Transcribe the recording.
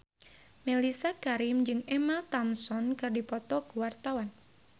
Mellisa Karim jeung Emma Thompson keur dipoto ku wartawan